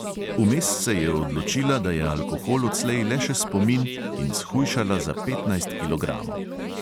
Vmes se je odločila, da je alkohol odslej le še spomin, in shujšala za petnajst kilogramov.